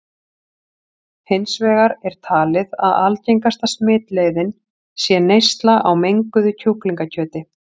Hins vegar er talið að algengasta smitleiðin sé neysla á menguðu kjúklingakjöti.